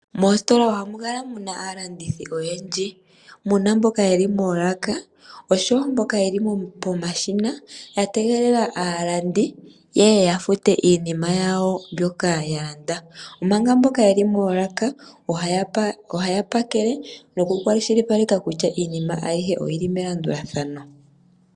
Moositola oha mu kala mu na aalandithi oyendji. Mu na mboka ye li moolaka, osho wo mboka ye li pomashina, ya tegelela aalandi ye ye ya fute iinima yawo mbyoka ya landa, omanga mboka ye li moolaka oha ya pakele, noku kwashilipaleka kutya iinima ayihe oyi ii melandulathano.